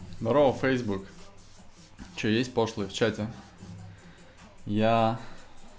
здравствуй фейсбук что есть пошлые в чате я